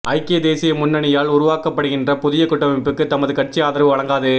ஐக்கிய தேசிய முன்னணியால் உருவாக்கப்படுகின்ற புதிய கூட்டமைப்புக்கு தமது கட்சி ஆதரவு வழங்காது